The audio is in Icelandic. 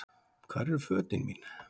Hvar eru fötin mín?